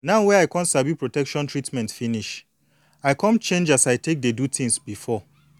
now wey i don sabi protection treatment finish i come change as i take dey do thins before